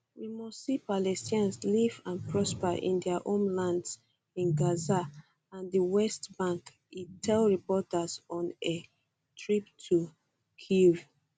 we must see palestinians live and prosper in dia homelands in gaza and di west bank e tell reporters on a trip to kyiv